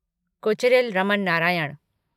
Kocheril Raman Narayanan